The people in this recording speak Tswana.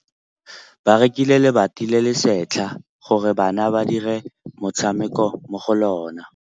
Ba rekile lebati le le setlha gore bana ba dire motshameko mo go lona.